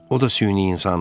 O da süni insandır.